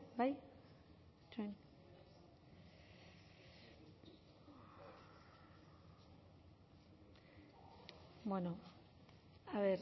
itxoin